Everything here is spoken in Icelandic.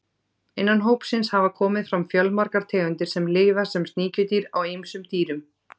Innan hópsins hafa komið fram fjölmargar tegundir sem lifa sem sníkjudýr á ýmsum dýrum.